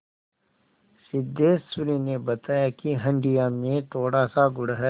सिद्धेश्वरी ने बताया कि हंडिया में थोड़ासा गुड़ है